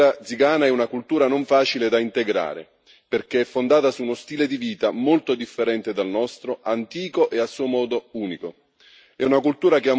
La verità è che quella zigana è una cultura non facile da integrare, perché è fondata su uno stile di vita molto differente dal nostro, antico e a suo modo unico.